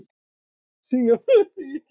Singapúr